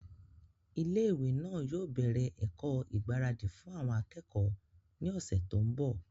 ilé ìwé náà yóò bẹ̀rẹ̀ ẹ̀kọ́ ìgbáradì fún àwọn akẹ́kọ̀ọ́ ní ọ̀sẹ̀ tó ń bọ̀